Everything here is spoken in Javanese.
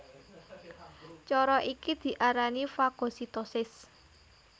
Cara iki diarani fagositosis